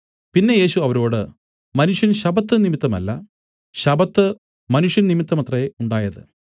പിന്നെ യേശു അവരോട് മനുഷ്യൻ ശബ്ബത്ത് നിമിത്തമല്ല ശബ്ബത്ത് മനുഷ്യൻ നിമിത്തമത്രേ ഉണ്ടായത്